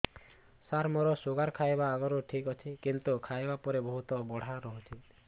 ସାର ମୋର ଶୁଗାର ଖାଇବା ଆଗରୁ ଠିକ ଅଛି କିନ୍ତୁ ଖାଇବା ପରେ ବହୁତ ବଢ଼ା ରହୁଛି